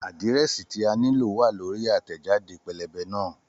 Àdírẹ́sì tí a nílò wá lórí àtẹ̀jáde pẹ́lẹ́bẹ́ náà